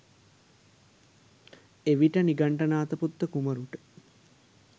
එවිට නිගන්ඨනාථපුත්ත කුමරුට